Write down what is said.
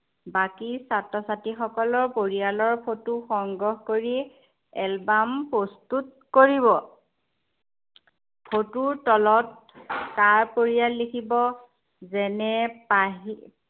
বাকী ছাত্ৰ-ছাত্ৰীসকলৰ পৰিয়ালৰ photo সংগ্ৰহ কৰি album প্ৰস্তুত কৰিব। photo ৰ তলত কাৰ পৰিয়াল লিখিব। যেনে পাহী